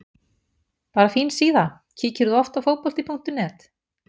Bara fín síða Kíkir þú oft á Fótbolti.net?